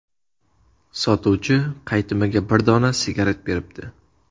Sotuvchi qaytimiga bir dona sigaret beribdi.